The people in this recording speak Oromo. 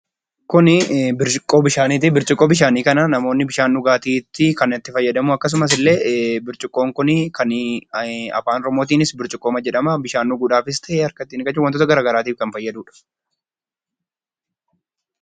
Suuraan Kun suuraa burcuqqooti. Kan namoonni bishaan ittiin dhugaatii fi harka ittiin dhiqachuuf kan itti fayyadamnii dha.